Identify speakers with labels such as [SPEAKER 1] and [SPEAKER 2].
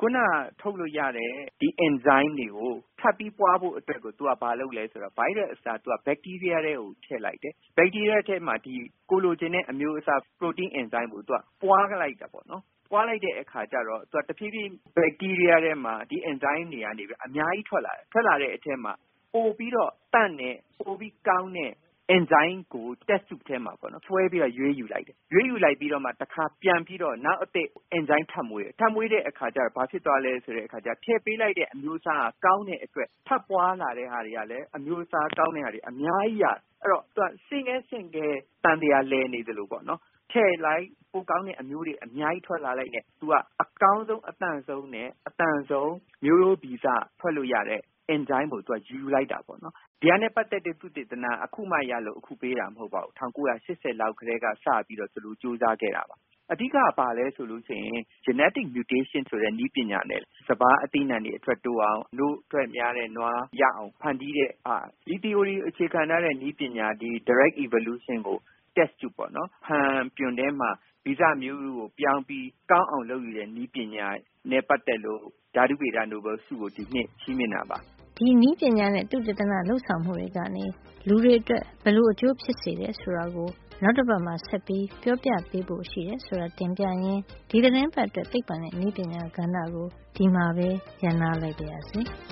[SPEAKER 1] ခုန ထုတ်လို့ရတဲ့ အင်ဇိုင်းတွေကို ထပ်ပြီးပွါးဖို့အတွက် သူကဘာလုပ်လဲ ဆိုတော့ ဗိုင်းရပ်စ်အစား ဘက်တီးရီးယားထဲကို ထည့်လိုက်တယ်။ ဘက်တီးရီးယားထဲမှာ ကိုယ်လိုချင်တဲ့ အမျိုးအစား ပရိုတိန်း အင်ဇိုင်း တွေကို သူက ပွါးလိုက်တာပေါ့နော်။ အဲဒီလို ပွါးလိုက်တဲ့ အခါကျတော့ သူက တဖြေးဖြေး ဘက်တီးရီးယားထဲမှာ အင်ဇိုင်းတွေအများကြီး ထွက်လာတယ်။ အဲဒီလို ထွက်လာတဲ့အထဲမှာ ပိုပြီးတော့ သန့်တဲ့၊ ပိုပြီးကောင်းတဲ့ အင်ဇိုင်းကို စမ်းသပ်ဖန်ပြွန် test tube ထဲမှာ ခွဲပြီးတော့ ရွေးယူလိုက်တယ်။ အဲဒီလို ရွေးယူလိုက်ပြီးမှ တခါ ပြန်ပြီးတော့ နောက်အသစ် အင်ဇိုင်းထပ်မွေးတယ်။ ထပ်မွေးတဲ့ အခါကျတော့ ခုနက ထည့်ပေးလိုက်တဲ့ အမျိုးအစားက ကောင်းတဲ့အတွက် ထပ်ပွါးလာတဲ့ ဟာတွေကလည်း အမျိုးစား ကောင်းတဲ့ဟာတွေ အများကြီးရတယ်။ အဲဒီတော့ သူက ဆင့်ကဲဆင့်ကဲ သံသရာလည်နေ သလို ပေါ့နော်။ ထည့်လိုက် ပိုကောင်းတဲ့ အမျိုးတွေ အများကြီး ထွက်လာလိုက်နဲ့ သူက အကောင်းဆုံး အသန့်ဆုံးနဲ့ အသန်ဆုံး မျိုးရိုးဗီဇ ထုတ်လို့ရတဲ့ အင်ဇိုင်းကိုယူလိုက်တာပေါ့နော်။ ဒါနဲ့ ပတ်သက်တဲ့ သုတေသနဟာအခုမှ ရလို့ အခုဆုပေးတာ မဟုတ်ပါဘူး။ ၁၉၈၀ လောက် ကတည်းက စပြီးတော့ သူတို့ ကြိုးစားခဲ့ကြတာပါ။ အဓိကက ဘာလဲဆိုရင် genetic mutation ဆိုတဲ့ နည်းပညာနဲ့ စပါး၊ အသီးအနှံတွေ အထွက်တိုး အောင်၊ နို့အထွက်တိုးအောင် နို့ထွက်များတဲ့ နွားရအောင် ဖန်တီးတဲ့ဟာ။ ဒီသီအိုရီကို အခြေခံ ထားတဲ့ နည်းပညာ၊ ဒီ directed evolution ကို test tube ဖန်ပြွန်ထဲမှာ ဗီဇ မျိုးရိုးကို ပြောင်းပြီး ကောင်း အောင် လုပ်ယူတဲ့နည်းပညာနဲ့ ပတ်သက်လို့ ဒီနှစ်အတွက် ဓါတုဗေဒနိုဘဲလ် ဆုကို ပေးတာပါ.”
[SPEAKER 2] ဒီနည်းပညာနဲ့ သုတေသန လုပ်ဆောင်မှုတွေကနေ လူတွေ အတွက် ဘယ်လို အကျိုးဖြစ်စေတယ် ဆိုတာကို နောက်တပတ်မှာ ဆက်ပြီး ပြောပြပေးဖို့ ရှိတယ်ဆိုတာ တင်ပြရင်း ဒီသီတင်းပတ်အတွက် သိပ္ပံနဲ့ နည်းပညာကဏ္ဍကို ဒီမှာပဲ ရပ်နားလိုက်ပါရစေ။